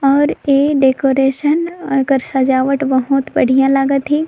और ऐ डेकोरेशन एकर सजावट बहुत बढ़िया लागत हे।